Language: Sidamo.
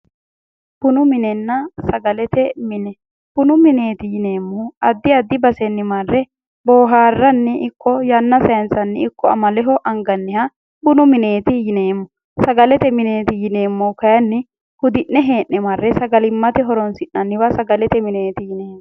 Bunu minenna sagalete mine bunu mineeti yineemmohu addi addi basenni marre booharranni ikko yanna sayiinsanni ikko amaleho anganniha bunu mineeti yineemmo sagalete mineeti yineemmohu kayiinni hudi'ne hee'ne marre sagalimmate horonsi'nanniha sagalete mineeti yineemmo